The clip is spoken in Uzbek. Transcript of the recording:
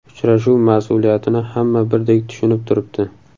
Uchrashuv mas’uliyatini hamma birdek tushunib turibdi”.